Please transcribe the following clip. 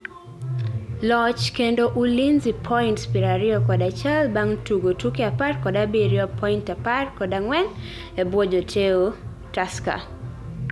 Loch kendo Ulinzi points pira ariyokod achiel bang tugo tuke apar kod abiriyo, point apar kod angwen ebwo joteo Tusker